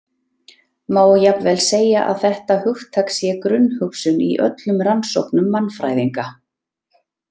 Má jafnvel segja að þetta hugtak sé grunnhugsun í öllum rannsóknum mannfræðinga.